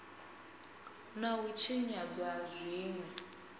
na u tshinyadzwa ha zwinwe